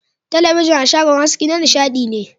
Talabijin a shagon aski na nishadi ne.